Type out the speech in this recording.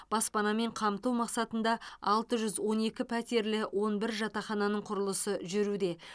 баспанамен қамту мақсатында алты жүз он екі пәтерлі он бір жатақхананың құрылысы жүруде